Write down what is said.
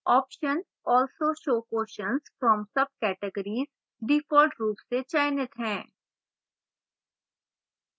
option also show questions from subcategories default रूप से चयनित है